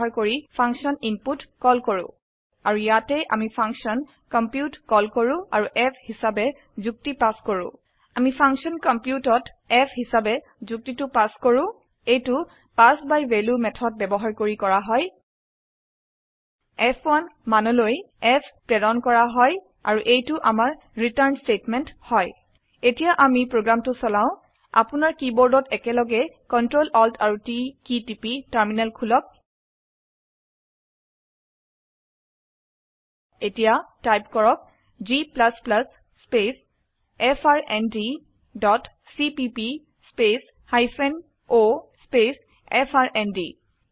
ব্যবহাৰ কৰি function input call কৰো আৰু ইয়াতে আমি ফাংশন কম্পিউট কল কৰো আৰু f হিচাবে যুক্তি পাছ কৰো আমি ফাংশন কম্পিউটত f হিসাবে যুক্তিটো পাছ কৰো এইটো পিএচএছ বাই ভেলিউ মেথদ ব্যবহাৰ কৰি কৰা হয় ফ1 মানলৈ f প্ৰেৰণ কৰা হয় আৰু এইটো আমাৰ ৰিটাৰ্ন স্তেটমেন্ট হয় এতিয়া আমি প্ৰোগ্ৰামটো চলাও আপোনাৰ কীবোৰ্ডত একেলগে Ctrl Alt আৰু T কি টিপি টাৰ্মিনেল খুলক এতিয়া টাইপ কৰক g space F R N D dot cpp space hyphen o space FRND